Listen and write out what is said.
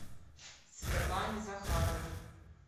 светлане захаровой